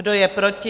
Kdo je proti?